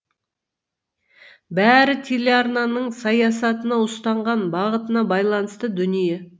бәрі телеарнаның саясатына ұстанған бағытына байланысты дүние